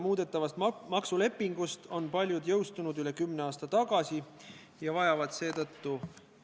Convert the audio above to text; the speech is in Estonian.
Milleks on vaja erandit, et puudega isikule ei tehta kättesaadavaks vajalikku abi ja teavet?